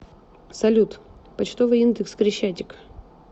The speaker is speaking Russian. салют почтовый индекс крещатик